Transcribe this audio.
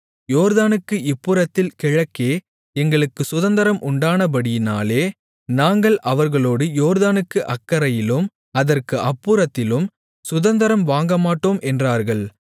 யோர்தானுக்கு இப்புறத்தில் கிழக்கே எங்களுக்குச் சுதந்தரம் உண்டானபடியினாலே நாங்கள் அவர்களோடு யோர்தானுக்கு அக்கரையிலும் அதற்கு அப்புறத்திலும் சுதந்தரம் வாங்கமாட்டோம் என்றார்கள்